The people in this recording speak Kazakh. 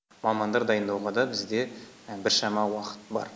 мамандар дайындауға да бізде біршама уақыт бар